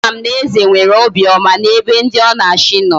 Ama m na eze nwere obi oma na ebe ndi o na achi no.